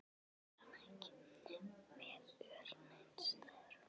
Er hann ekki með ör neins staðar?